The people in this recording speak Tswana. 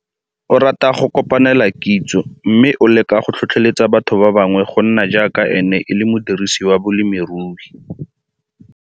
O rata go kopanela kitso mme o leka go tlhotlheletsa batho ba bangwe go nna jaaka ene e le modirisi wa bolemirui.